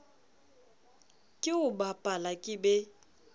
ke o bapala ke be